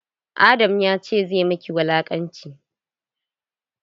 Adam ya ce zai maki wulaƙanci.